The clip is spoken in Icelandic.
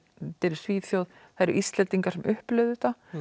í Svíþjóð það eru Íslendingar sem upplifa þetta